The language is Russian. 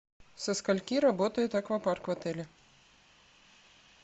со скольки работает аквапарк в отеле